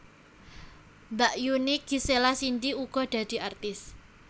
Mbakyuné Gisela Cindy uga dadi artis